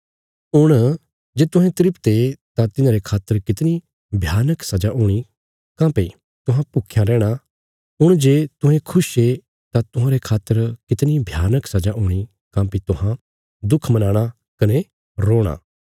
हुण जे तुहें तृप्त ये तां तिन्हांरे खातर कितणी भयानक सजा हूणी काँह्भई तुहां भुख्यां रैहणा हुण जे तुहें खुश ये तां तुहांरे खातर कितणी भयानक सजा हूणी काँह्भई तुहां दुख मनाणा कने रोणा